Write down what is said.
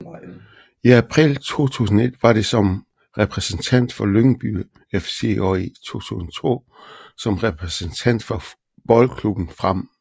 I april 2001 var det som repræsentant for Lyngby FC og i 2002 som repræsentant for Boldklubben Frem